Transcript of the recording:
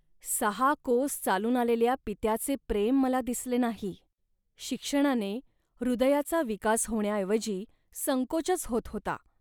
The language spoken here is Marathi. सहा कोस चालून आलेल्या पित्याचे प्रेम मला दिसले नाही. शिक्षणाने हृदयाचा विकास होण्याऐवजी संकोचच होत होता